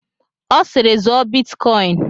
Ọ siiri, zụọ bitkọin!